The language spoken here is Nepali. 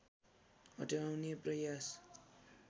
हटाउने प्रयास